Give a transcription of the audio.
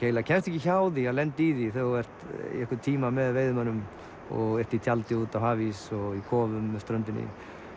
kemst ekki hjá því að lenda í því þegar þú ert í einhvern tíma með veiðimönnum og ert í tjaldi úti á hafís og í kofum með ströndinni